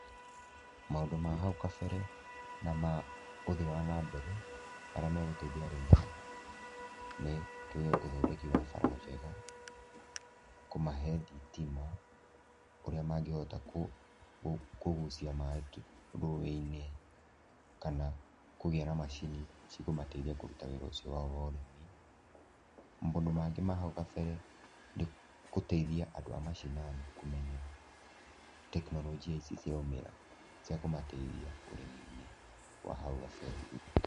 Maũndũ ma hau kabere na maũthii wa nambere marĩa magũteithia arĩmi nĩ tuge ũthondeki wa bara njega, kũmahe thitima, ũrĩa mangĩhota kũ kũgucia maĩ rũĩ-inĩ kana kũgĩa na macini cikũmateithia kũruta wĩra ũcio wao wa ũrĩmi, maũndũ mangĩ ma hau kabere nĩ gũteithia andũ a macinani kũmenya tekinoronjia ici ciraumĩra, cia kũmateithia ũrĩmi-inĩ wa hau gabere.